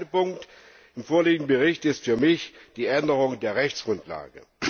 Der entscheidende Punkt im vorliegenden Bericht ist für mich die Änderung der Rechtsgrundlage.